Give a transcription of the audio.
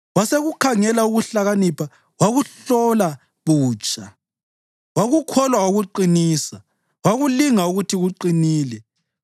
wasekukhangela ukuhlakanipha wakuhlola butsha; wakukholwa wakuqinisa, wakulinga ukuthi kuqinile.